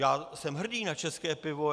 Já jsem hrdý na české pivo.